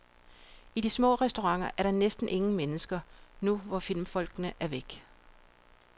I de små restauranter er der næsten ingen mennesker, nu hvor filmfolkene er væk.